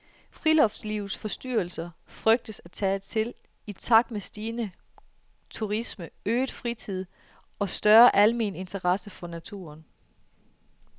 Friluftslivets forstyrrelser frygtes at tage til i takt med stigende turisme, øget fritid og større almen interesse for naturen.